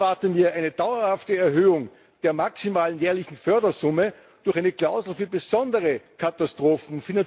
Ich erwarte mir eine dauerhafte Erhöhung der maximalen jährlichen Fördersumme durch eine Klausel für besondere Katastrophen.